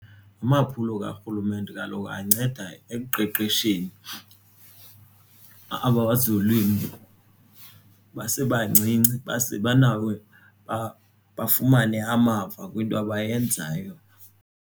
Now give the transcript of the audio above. Amaphulo karhulumente kaloku anceda ekuqeqesheni aba kwezolimo basebancinci banawo uba bafumane amava kwinto abayenzayo.